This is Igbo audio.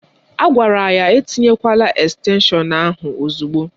A gwara ya etinyekwala estenshọn ahụ ozugbo